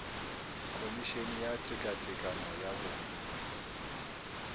khomišene ya tekatekano ya bong